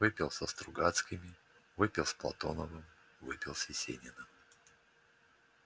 выпил со стругацкими выпил с платоновым выпил с есениным